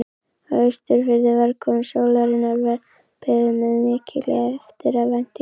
Á Austurfirði var komu sólarinnar beðið með mikilli eftirvæntingu.